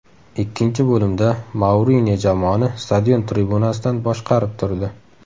Ikkinchi bo‘limda Mourinyo jamoani stadion tribunasidan boshqarib turdi.